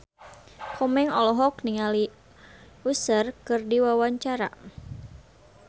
Komeng olohok ningali Usher keur diwawancara